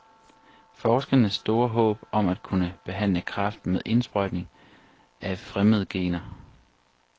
Forskernes store håb er at kunne behandle kræft med indsprøjtning af fremmede gener.